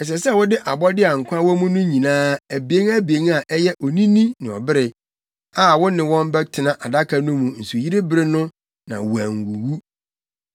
Ɛsɛ sɛ wode abɔde a nkwa wɔ mu nyinaa, abien abien a ɛyɛ onini ne ɔbere, a wo ne wɔn bɛtena adaka no mu nsuyiri bere no a wonnwuwu.